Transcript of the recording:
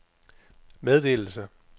meddelelse